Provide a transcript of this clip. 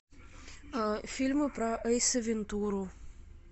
фильмы про эйса вентуру